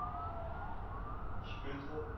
Spøttrup